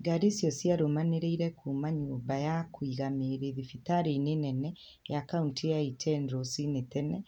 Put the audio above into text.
Ngari icio ciarũmanĩrĩire kuuma nyũmba ya kũiga mĩĩrĩ thĩbĩtarĩ-inĩ nene ya kaũnti ya Iten rũcinĩ tene,